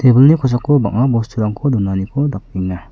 kosako bang·a bosturangko donaniko dakenga.